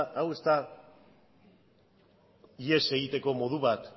hau ez da ihes egiteko modu bat